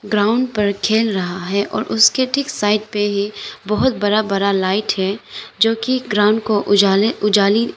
ground पर खेल रहा है और उसके ठीक साइट पे ही बहुत बरा बरा लाइट है जो की ग्राउंड को उजाले उजाली--